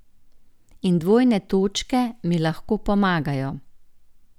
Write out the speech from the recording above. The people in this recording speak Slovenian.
In dvojne točke mi lahko pomagajo.